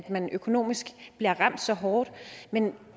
man økonomisk bliver ramt så hårdt men